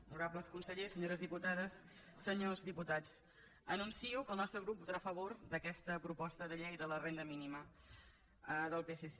honorables consellers senyores diputades senyors diputats anuncio que el nostre grup votarà a favor d’aquesta proposta de llei de la renda mínima del psc